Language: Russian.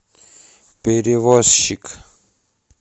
перевозчик